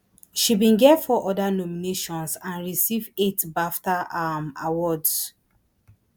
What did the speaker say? she bin get four oda nominations and receive eight bafta um awards